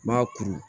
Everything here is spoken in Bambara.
N m'a kuru